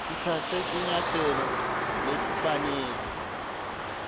sitsatse tinyatselo letifanele